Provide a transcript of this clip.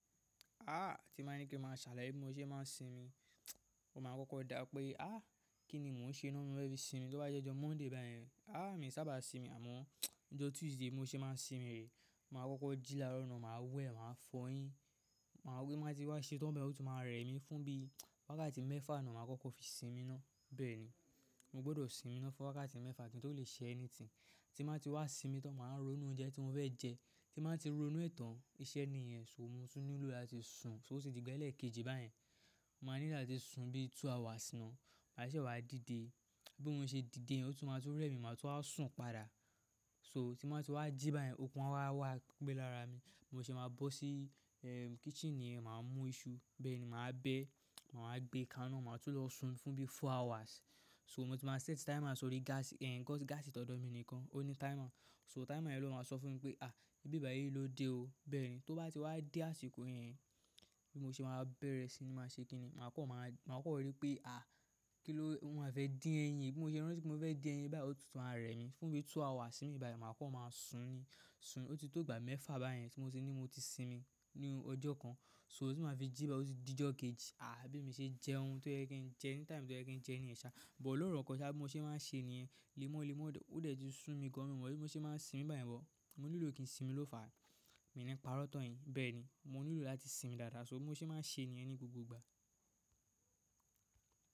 Ah ti mo bá ní kí ma ṣàlàyé bí mo se ma ń sinmi, mo ma kọ́kọ́ dá pé ah kí ni mò ń ṣe iná ni mo fẹ́ fi sinmi. Tóbá jẹ́ ọjọ́ Monday báyìí, ah mi sábà sinmi àmọ́ ọjọ́ Tuesday mo se ma ń sinmi rè e, màá kọ́kọ́ jìláró náà ma wẹ̀, màá fòyin, màá rí ma tí wá ṣetán báyìí, ó tún máa rẹ̀ mí fún bí wákàtí mẹ́fa ni, màá kọ́kọ́ fi sinmi ná. Bẹ́ẹ̀ni, mo gbọdọ̀ sinmi fún wákàtí mẹ́fà kí n tó lè ṣe ẹni tí, tí màá ti wá sinmi tọ́ máa rónú oúnjẹ tí mo fẹ́ jẹ. Tí màá ti rónú ẹ̀tàn, iṣẹ́ ni ìyẹn, ṣó mo tún nílò láti sùn, ṣó ti di ẹ́lẹ̀ kejì báyìí, mo máa nílò láti sùn bí i two hours náà, máṣe wàá dìde. Bí mo ṣe dìde, ó tún máa tó rẹ́ mi, màá tún wá sùn padà. So tí bàá ti wá jí báyen, okun a wá wà gbé lára mi. Mo ṣe máa bọ́ sí eeh kitchen niyẹn, màá mú iṣu, bẹ́ẹ̀ni màá bẹ, màá gbé kaná, màá tún lọ sùn fún bí i four hours. So mo ti máa set timer sórí gas yẹn, because gas ìtọ̀dọ̀ mi nìkan, ó ní timer. So timer yẹn ló máa sọ fún mi pé ah bí i báyìí ló dé o. Bẹ́ẹ̀ni, tó bá ti wá dé àsìkò yẹn, bí mo ṣe máa bẹ̀rẹ̀ si máa ṣe kíni, màá kọ́kọ́ máa rí pé ah kí ló, ohun màá fẹ́ dín ẹyin. Bi mose rántí pe mo fe di ẹyin báyìí otuntun ma re mi fún bi two hours nibi bayi ma kan ma sun ni òtítọ́ ìgbà mefa bayen ti mo ni moti sinmi ni ojokan. So tí màá fi jí báyìí, ó ti di ọjọ́ kejì. Ah bí mi ṣe jẹ ohun tó yẹ kí n jẹ́ ní time tó yẹ kí n jẹ́ ní ìṣá, but loro kan sá bi mo ṣe má n ṣe ni yẹn. Lemọ́ lemọ́ ó dè ti sún mi gan an mọ́ bí mo ṣe máa ń sinmi báyìí bọ. Mo nílò kí n sinmi ló fàá. Mi ní pa ró tan yín. Bẹ́ẹ̀ni, mo nílò láti sinmi dáadáa, ṣó mo ṣe máa n ṣe ni ẹ́ ní gbogbo ìgbà.